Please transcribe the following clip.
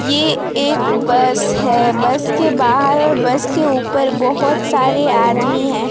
ये एक बस है बस के बाहर बस के ऊपर बहुत सारे आदमी हैं।